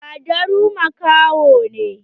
Badaru makaho ne.